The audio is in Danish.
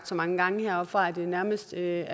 så mange gange her fra talerstolen at det nærmest er